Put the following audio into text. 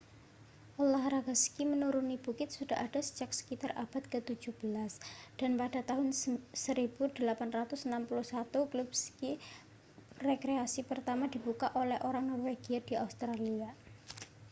olahraga ski menuruni bukit sudah ada sejak sekitar abad ke-17 dan pada tahun 1861 klub ski rekreasi pertama dibuka oleh orang norwegia di australia